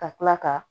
Ka kila ka